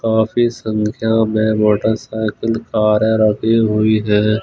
काफी संख्या में मोटरसाइकिल कारें रखी हुई हैं।